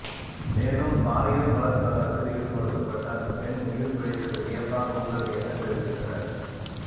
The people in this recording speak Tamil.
மேலும் பாலியல் பலாத்காரத்தில் ஈடுபடுத்தபட்ட அந்த பெண் உயிர் பிழைத்தது வியப்பாக உள்ளது என தெரிவித்தனர